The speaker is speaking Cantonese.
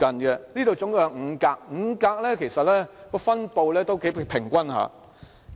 這裏一共有5格，其實5格的分布頗平均。